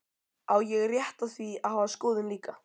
Á ég rétt á því að hafa skoðun líka?